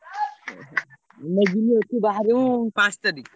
ଓହୋ, ଆମେ ଯିବୁ ଏଠୁ ବାହାରିବୁ ପାଞ୍ଚ ତାରିଖ୍।